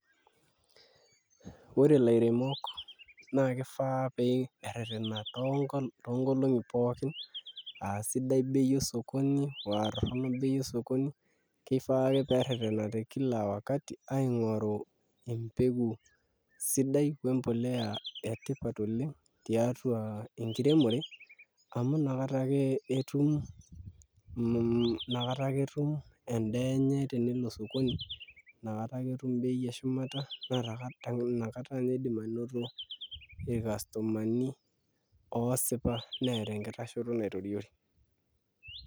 Ore ilairemok naa kifaa pee eererena nkolong'i pookin aa sidai bei osokoni oo aa torrono bei osokoni kifaa ake pee errerena te kila wakati aing'oru embeku sidai oo embolea etipat oleng' tiatua enkiremore amu nakata ake etum endaa enye tenelo osokoni inakata ake etum bei eshumata inakata ake iidim anoto irkastomani oosipa neeta enkitashoto naitoriori.